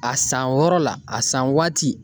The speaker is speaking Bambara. A san wɔrɔ la, a san waati